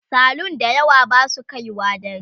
salun da yawa Basu kaiwa dare